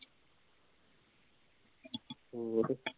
ਹੋਰ